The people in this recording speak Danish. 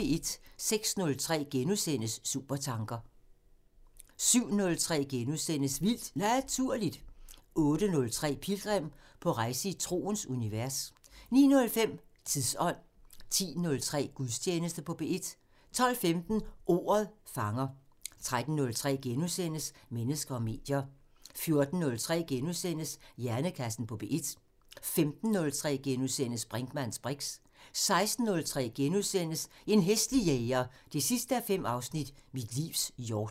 06:03: Supertanker * 07:03: Vildt Naturligt * 08:03: Pilgrim – på rejse i troens univers 09:05: Tidsånd 10:03: Gudstjeneste på P1 12:15: Ordet fanger 13:03: Mennesker og medier * 14:03: Hjernekassen på P1 * 15:03: Brinkmanns briks * 16:03: En hæslig jæger 5:5 – Mit livs hjort *